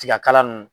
Tiga kala nunnu